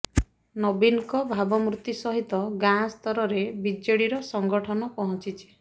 ନବୀନଙ୍କ ଭାବମୂର୍ତ୍ତି ସହିତ ଗାଁ ସ୍ତରରେ ବିଜେଡ଼ିର ସଂଗଠନ ପହଞ୍ଚିଛି